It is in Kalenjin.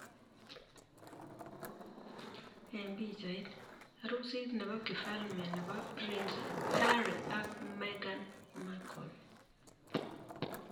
Eng pichait, arusit nebo kifalme nebo Prince Harry ak Meghan Markle.